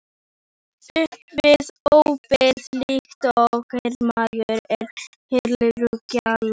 Spratt upp við ópið líkt og hermaður er herlúðrar gjalla.